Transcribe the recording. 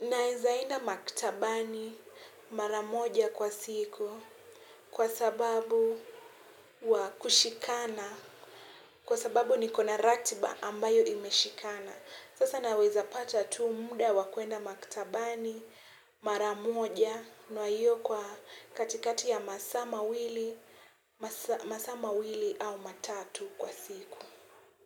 naweza enda maktabani mara moja kwa siku kwa sababu wa kushikana, kwa sababu nikona ratiba ambayo imeshikana. Sasa naweza pata tu muda wa kuenda maktabani mara moja na hiyo kwa katikati ya masaa mawili au matatu kwa siku.